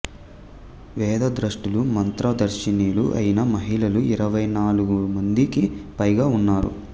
వేదద్రష్టలు మంత్ర దర్శినులు అయిన మహిళలు ఇరవై నాలుగు మందికి పైగా ఉన్నారు